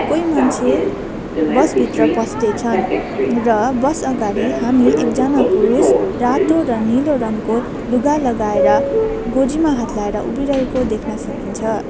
कोई मान्छे बस भित्र पस्दै छन् नर बस अगाडि हामी एकजना पुरुष रातो र नीलो रङको लुगा लगाएर गोजीमा हात लाएर उभिरहेको देख्न सकिन्छ।